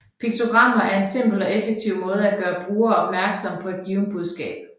Piktogrammer er en simpel og effektiv måde at gøre brugere opmærksomme på et givent budskab